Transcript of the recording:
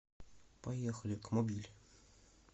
поехали кмобиль